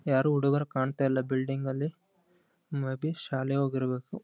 ಯಾರು ಹುಡುಗರು ಕಾಣ್ತಾ ಇಲ್ಲ ಬಿಲ್ಡಿಂಗ್ ಅಲ್ಲಿ ಮೇ ಬಿ ಶಾಲೆಗ್ ಹೋಗಿರ್ಬೇಕು.